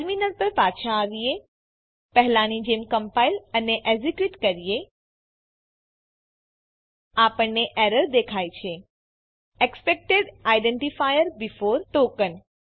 terminal પર પાછા આવીએ પહેલાની જેમ કમ્પાઈલ અને એક્ઝીક્યુટ કરીએ આપણને એરર દેખાય છે એક્સપેક્ટેડ આઇડેન્ટિફાયર બેફોર ટોકેન